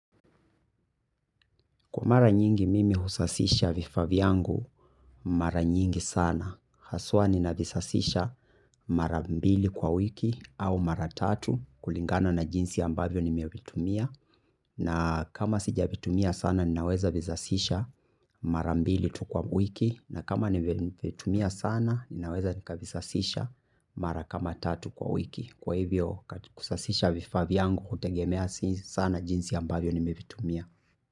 Kwa mara nyingi mimi husasisha vifaa vyangu mara nyingi sana. Haswa ninavisasisha mara mbili kwa wiki au mara tatu kulingana na jinsi ambavyo nimevitumia. Na kama sijavitumia sana ninaweza vizasisha mara mbili tu kwa wiki. Na kama nimevitumia sana ninaweza nikavisasisha mara kama tatu kwa wiki. Kwa hivyo kusasisha vifaa yangu hutegemea sana jinsi ambavyo nimevitumia.